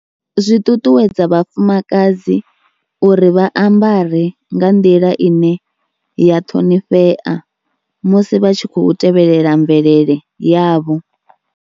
Zwi ṱuṱuwedza vhafumakadzi uri vha ambare nga nḓila ine ya ṱhonifhea musi vha tshi khou tevhelela mvelele yavho.